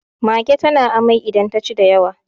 mage tana amai idan ta ci da yawa